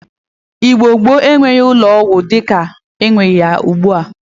Igbo gboo enweghi ụlọ ọgwọ di ka enwe ya ugbua.